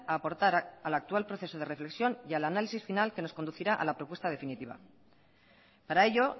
a aportar al actual proceso de reflexión y al análisis final que nos conducirá a la propuesta definitiva para ello